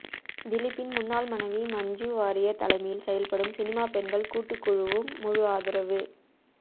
திலீப்பின் முன்னாள் மனைவி மஞ்சு வாரியர் தலைமையில் செயல்படும் சினிமா பெண்கள் கூட்டுக்குழுவும் முழு ஆதரவு